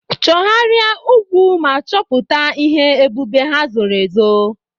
Chọgharịa ugwu ma chọpụta ihe ebube ha zoro ezo.